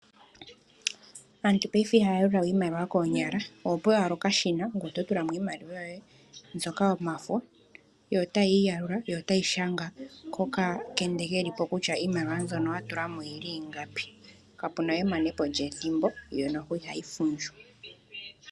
Aantu payife ihaya yalulawe iimaliwa koonyala, ohopewa ala okashina ngweye oto tulamo iimaliwa yoye mbyoka yomafo yo otayii yalula yo otayi shanga kokakende kelipo kutya oyili ingapi, kapunawe emanepo lyethimbo yo noho ihayi fundju.